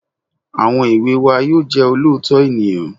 Àwọn èwe wa yóò jẹ́ olóòótọ́ ènìyàn